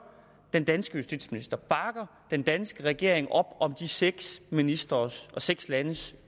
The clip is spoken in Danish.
den danske justitsminister bakker den danske regering op om de seks ministres og seks landes